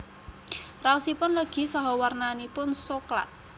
Raosipun legi saha warnanipun soklat